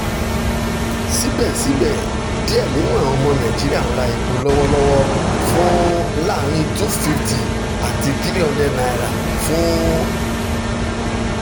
sibẹsibẹ diẹ ninu awọn ọmọ naijiria n ra epo lọwọlọwọ ra epo lọwọlọwọ fun laarin n250 ati n300 fun